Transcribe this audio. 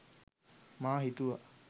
මා හිතුවා